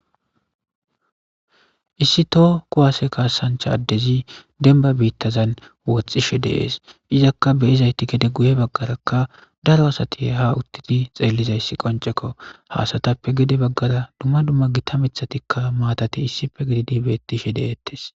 Issi too ku haase kaasancha addezi denba biittazan woxxishe deees izakka beizayti gede guye baggarakka daro asati ha uttidi xeellizayssi qoncekko hasatappe gede baggara dumma dumma gita mithatikka maatati issife gididi beettishe deeettes.